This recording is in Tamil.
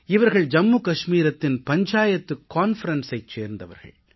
இவர்கள் ஜம்மு கஷ்மீரத்தின் பஞ்சாயத்து மாநாட்டைச் சேர்ந்தவர்கள்